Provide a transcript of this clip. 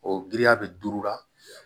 O giriya bɛ duuru la